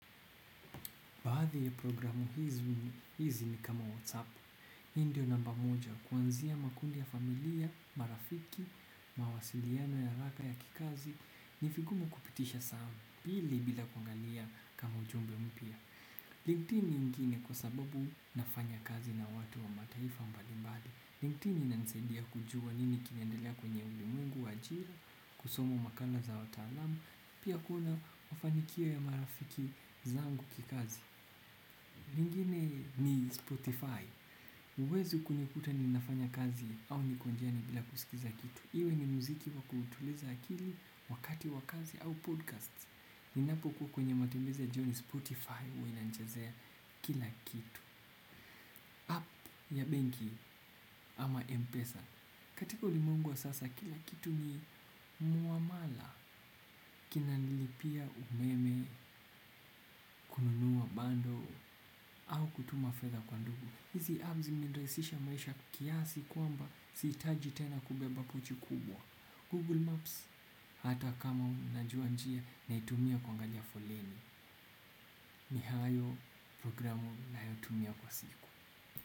Baadhi ya programu hizi ni kama whatsapp hii ndio namba moja kuanzia makundi ya familia, marafiki, mawasiliano ya haraka ya kikazi. Nivigumu kupitisha saa mbili bila kuangalia kama ujumbe mpya. Nyingine kwa sababu nafanya kazi na watu wa mataifa mbalimbali. LinkedIn inanisaidia kujua nini kinaendelea kwenye ulimwengu, wa ajira, kusoma makala za wataalamu, pia kuona mafanikio ya marafiki zangu kikazi. Lingine ni Spotify, huwezi kunikuta ninafanya kazi au niko njiane bila kusikiza kitu iwe ni muziki wa kutuliza akili wakati wa kazi au podcast. Ninapokuwa kwenye matembezi jioni Spotify hua inanchazea kila kitu. App ya benki ama M-Pesa. Katika ulimwengu wa sasa kila kitu ni muamala. Kina nilipia umeme kununua bando au kutuma fedha kwa ndugu. Hizi apps zimerahisishamaisha kiasi kwamba sihitaji tena kubeba pochi kubwa. Google Maps hata kama unajua njia naitumia kuangalia foleni. Nihayo programu nayotumia kwa siku.